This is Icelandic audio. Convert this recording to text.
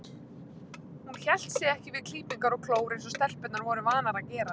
Hún hélt sig ekki við klípingar og klór eins og stelpurnar voru vanar að gera.